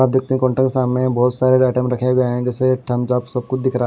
आप देखते हैं सामने बहुत सारे आइटम रखे हुए हैं जैसेम जाप सब कुछ दिख रहा।